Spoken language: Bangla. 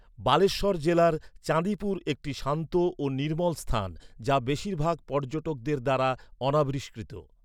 বালেশ্বর জেলার চাঁদিপুর একটি শান্ত ও নির্মল স্থান, যা বেশিরভাগ পর্যটকদের দ্বারা অনাবিষ্কৃত।